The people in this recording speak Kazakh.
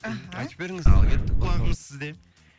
іхі айттып беріңіз ал кеттік құлағымыз сізде